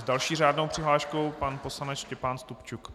S další řádnou přihláškou pan poslanec Štěpán Stupčuk.